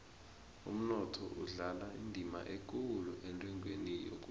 umnotho udlala indima ekulu entengweni yokudla